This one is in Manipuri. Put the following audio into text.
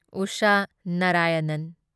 ꯎꯁꯥ ꯅꯥꯔꯥꯌꯅꯟ